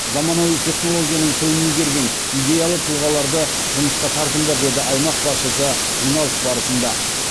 заманауи технологияның тілін игерген идеялы тұлғаларды жұмысқа тартыңдар деді аймақ басшысы жиналыс барысында